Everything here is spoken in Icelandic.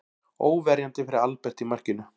Óverjandi fyrir Albert í markinu.